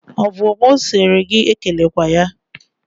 Ọ bụ mụ si gị ekelekwere ya?